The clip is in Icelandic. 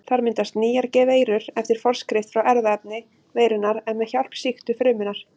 Þar myndast nýjar veirur eftir forskrift frá erfðaefni veirunnar en með hjálp sýktu frumunnar.